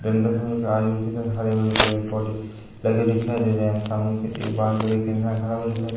दिन का समय हरे-भरे पेड़-पौधे लगे दिखाई दे रहे हैं सामने पे एक एक इंसान खड़ा हुआ दिखाई --